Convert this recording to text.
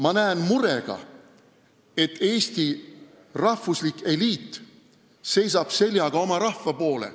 Ma vaatan murega, kuidas Eesti rahvuslik eliit seisab seljaga oma rahva poole.